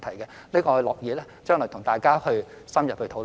我們樂意將來與大家作深入討論。